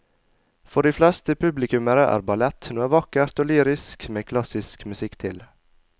For de fleste publikummere er ballett noe vakkert og lyrisk med klassisk musikk til.